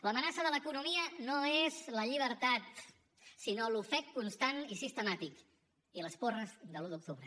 l’amenaça de l’economia no és la llibertat sinó l’ofec constant i sistemàtic i les porres de l’un d’octubre